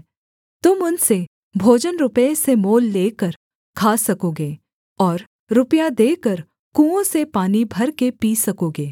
तुम उनसे भोजन रुपये से मोल लेकर खा सकोगे और रुपया देकर कुओं से पानी भरकर पी सकोगे